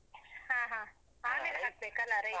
ಹಾ ಹಾ ಹಾಕ್ಬೇಕಲ ಅಲ್ಲಾ rice ?